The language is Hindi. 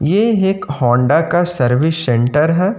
ये एक होंडा का सर्विस सेंटर है।